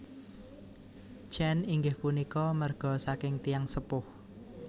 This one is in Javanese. Chen inggih punika marga saking tiyang sepuh